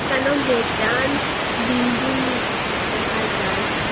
এখানেও বেযান বিল্ডিং দেখা যার।